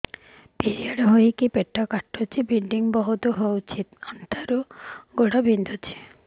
period ହୋଇକି ପେଟ କାଟୁଛି ବ୍ଲିଡ଼ିଙ୍ଗ ବହୁତ ହଉଚି ଅଣ୍ଟା ରୁ ଗୋଡ ବିନ୍ଧୁଛି